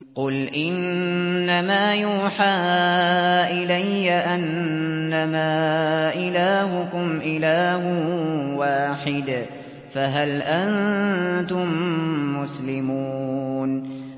قُلْ إِنَّمَا يُوحَىٰ إِلَيَّ أَنَّمَا إِلَٰهُكُمْ إِلَٰهٌ وَاحِدٌ ۖ فَهَلْ أَنتُم مُّسْلِمُونَ